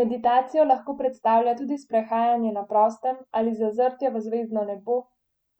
Meditacijo lahko predstavlja tudi sprehajanje na prostem ali zazrtje v zvezdno nebo,